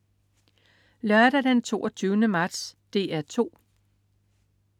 Lørdag den 22. marts - DR 2: